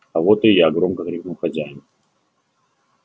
а вот и я громко крикнул хозяин